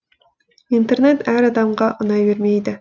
интернет әр адамға ұнай бермейді